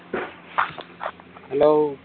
hello